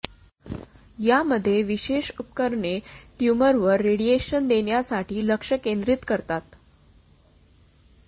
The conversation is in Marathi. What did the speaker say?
यामध्ये विशेष उपकरणे ट्युमरवर रेडिएशन देण्यासाठी लक्ष केंद्रित करतात